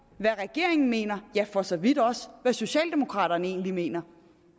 hvad regeringen mener ja for så vidt også hvad socialdemokraterne egentlig mener